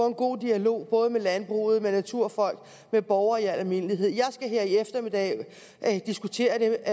en god dialog både med landbruget med naturfolk og med borgere i al almindelighed jeg skal her i eftermiddag diskutere